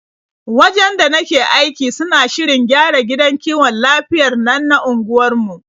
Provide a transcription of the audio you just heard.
Wajen da nake aiki suna shirin gyara gidan kiwon lafiyar nan na unguwarmu.